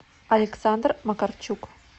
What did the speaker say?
александр макарчук